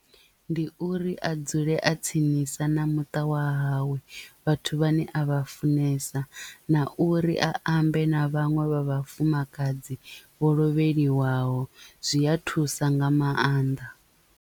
Ndi uri a dzule a tsinisa na muṱa wa hawe vhathu vhane a vha funesa na uri a ambe na vhaṅwe vha vhafumakadzi vho lovheliwaho zwi a thusa nga maanḓa.